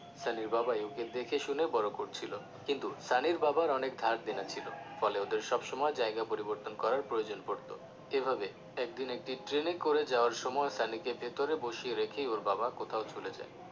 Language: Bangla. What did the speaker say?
সানির বাবাই ওকে দেখে শুনে বড় করছিলো কিন্তু সানির বাবার অনেক ধার দেনা ছিলো ফলে ওদের সবসময় জায়গা পরিবর্তন করার প্রয়োজন পড়তো এভাবে একদিন একটি ট্রেনে করে যাওয়ার সময় সানিকে ভেতরে বসিয়ে রেখেই ওর বাবা কোথাও চলে যায়